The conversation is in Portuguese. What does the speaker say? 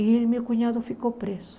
E meu cunhado ficou preso.